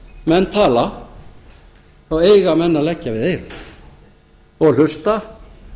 menn tala þá eiga menn að leggja við eyrun og hlusta